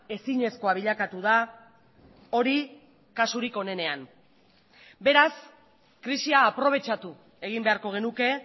ezinezkoa bilakatu da hori kasurik onenean beraz krisia aprobetxatu egin beharko genuke